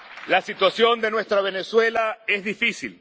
La situación de nuestra Venezuela es difícil.